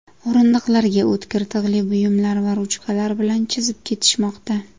O‘rindiqlarga o‘tkir tig‘li buyumlar va ruchkalar bilan chizib ketishmoqda.